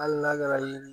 Hali n'a kɛra yen